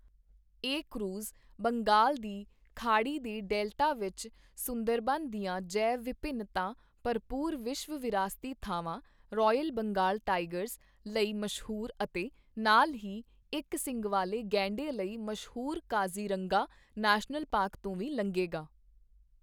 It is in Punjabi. ਇਹ ਕਰੂਜ਼ ਬੰਗਾਲ ਦੀ ਖਾੜੀ ਦੇ ਡੈਲਟਾ ਵਿੱਚ ਸੁੰਦਰਬਨ ਦੀਆਂ ਜੈਵ ਵਿਭਿੰਨਤਾ ਭਰਪੂਰ ਵਿਸ਼ਵ ਵਿਰਾਸਤੀ ਥਾਵਾਂ, ਰਾਇਲ ਬੰਗਾਲ ਟਾਈਗਰਸ ਲਈ ਮਸ਼ਹੂਰ ਅਤੇ ਨਾਲ ਹੀ ਇੱਕ ਸਿੰਙ ਵਾਲੇ ਗੈਂਡੇ ਲਈ ਮਸ਼ਹੂਰ ਕਾਜ਼ੀਰੰਗਾ ਨੈਸ਼ਨਲ ਪਾਰਕ ਤੋਂ ਵੀ ਲੰਘੇਗਾ।